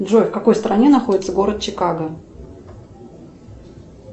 джой в какой стране находится город чикаго